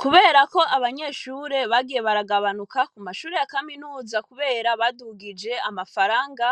Kubera ko abanyeshure bagiye baragabanuka, ku mashure ya kaminuza kubera badugije amafaranga,